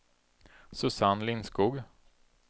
Susanne Lindskog